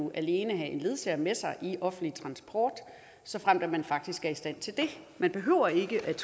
det alene have en ledsager med sig i offentlig transport såfremt man faktisk er i stand til det man behøver ikke at